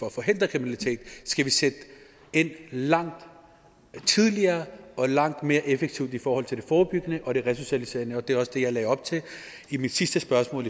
at forhindre kriminalitet skal sætte ind langt tidligere og langt mere effektivt i forhold til det forebyggende og resocialiserende og det er også det jeg lagde op til i mit sidste spørgsmål